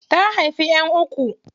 Ta haifi ƴan uku.